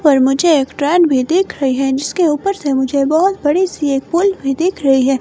पर मुझे एक ट्रेन भी दिख रही है जिसके ऊपर से मुझे बहुत बड़ी सी एक पुल भी दिख रही है।